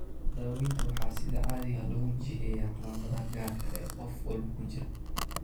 Daawaynta waxaa sida caadiga ah lagu jiheeyaa calaamadaha gaarka ah ee qof walba ku jira.